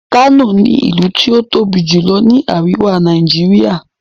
kano ní ilú tí o tóbi jùlọ ní àríwá Nàìjíríà.